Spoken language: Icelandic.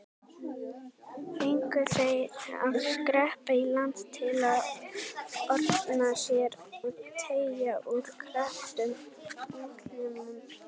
Fengu þeir að skreppa í land til að orna sér og teygja úr krepptum útlimum.